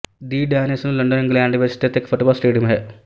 ਦ den ਇਸ ਨੂੰ London England ਵਿੱਚ ਸਥਿਤ ਇੱਕ ਫੁੱਟਬਾਲ ਸਟੇਡੀਅਮ ਹੈ